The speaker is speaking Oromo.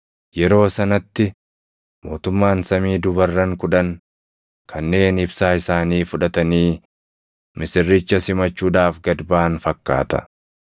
“Yeroo sanatti mootummaan samii dubarran kudhan kanneen ibsaa isaanii fudhatanii misirricha simachuudhaaf gad baʼan fakkaata.